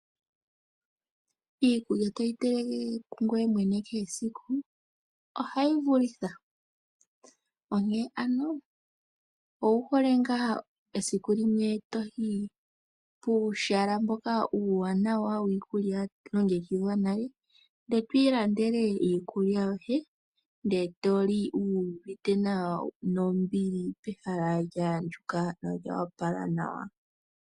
Iikulya toyi teleke kungoye mwene kehe esiku , ohayi vulitha . Onkene ano ouhole ngaa esiku limwe toyi puuhala mboka uuwanawa wiikulya ya longekidhwa nale ndele to ilandele iikulya yoye nde toli wu uvite nawa nombili pehala lya andjuka nolya opala nawa .